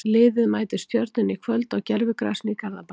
Liðið mætir Stjörnunni í kvöld á gervigrasinu í Garðabæ.